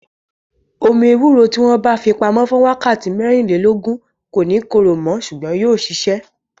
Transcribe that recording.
Omi ewúro tí wọn bá fi pamo fún wákàtí mẹ́rìnlélógún, kò ní korò mo ṣùgbọ́n yóò sisẹ